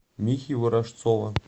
михи ворожцова